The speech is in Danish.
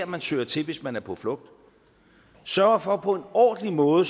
man søger til hvis man er på flugt sørger for på en ordentlig måde